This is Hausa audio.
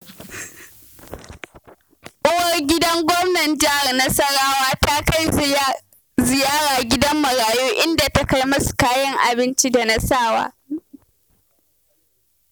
Uwar gidan Gwamnan Jihar Nasarawa ta kai ziyara gidan marayu, inda takai musu kayan abinci da na sawa.